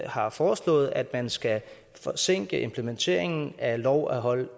har foreslået at man skal forsinke implementeringen af lov om hold